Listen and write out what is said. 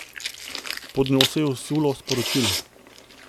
Pod njo se je usulo sporočil.